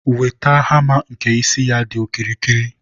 wete hama nke isi ya dị okirikiri.